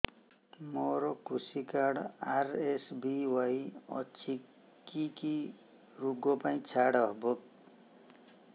ମୋର କୃଷି card RSBY ଅଛି କି କି ଋଗ ପାଇଁ ଛାଡ଼ ହବ